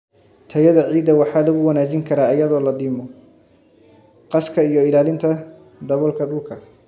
Tayada ciidda waxa lagu wanaajin karaa iyadoo la dhimo qaska iyo ilaalinta daboolka dhulka.